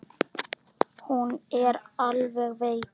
Nú er hún alveg veik.